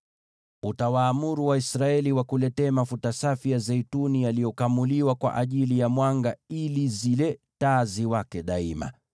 “Utawaamuru Waisraeli wakuletee mafuta safi ya zeituni yaliyokamuliwa kwa ajili ya mwanga ili zile taa ziwake mfululizo.